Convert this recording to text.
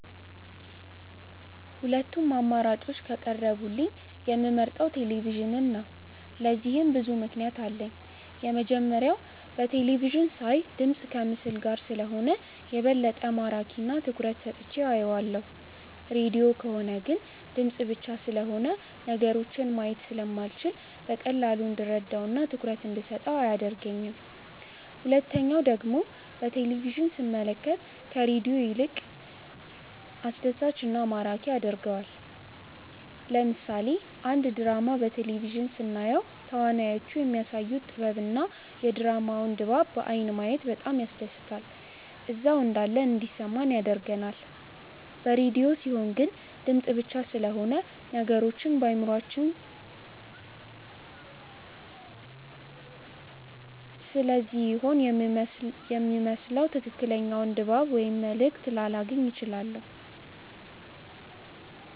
ሁለቱም አማራጮች ከቀረቡልኝ የምመርጠው ቴሌቪዥንን ነው። ለዚህም ብዙ ምክንያት አለኝ። የመጀመሪያው በቴለቪዥን ሳይ ድምፅ ከምስል ጋር ስለሆነ የበለጠ ማራኪ እና ትኩረት ሰጥቼው አየዋለሁ። ሬድዮ ከሆነ ግን ድምፅ ብቻ ስለሆነ ነገሮችን ማየት ስለማልችል በቀላሉ እንድረዳው እና ትኩረት እንደሰጠው አያደርገኝም። ሁለተኛው ደግሞ በቴሌቪዥን ስንመለከት ከሬዲዮ ይልቅ ይበልጥ አስደሳች እና ማራኪ ያደርገዋል። ለምሳሌ አንድ ድራማ በቴሌቪዥን ስናየው ተዋናዮቹ የሚያሳዩት ጥበብ እና የድራማውን ድባብ በአይን ማየት በጣም ያስደስታል እዛው እንዳለን እንዲሰማን ያደርጋል። በሬድዮ ሲሆን ግን ድምፅ ብቻ ስለሆነ ነገሮችን በአእምሯችን ስሴሆነ የምንስለው ትክክለኛውን ድባብ ወይም መልእክት ላላገኝ እችላለሁ።